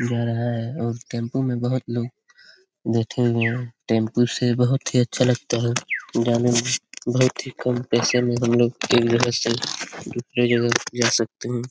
जा रहा है और टेंपू में बहुत लोग बैठे हुए हैं। टेंपू से बहुत ही अच्छा लगता है जाने में बहुत ही कम पैसे में हम लोग एक जगह से दूसरे जगह जा सकते हैं।